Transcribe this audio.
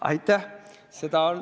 Aitäh!